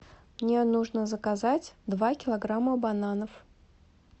мне нужно заказать два килограмма бананов